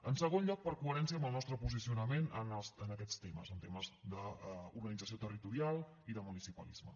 en segon lloc per coherència amb el nostre posicionament en aquests temes en temes d’organització territorial i de municipalisme